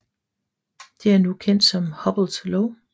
Det er nu kendt som Hubbles lov